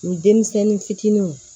Ni denmisɛnnin fitininw